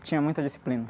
Tinha muita disciplina.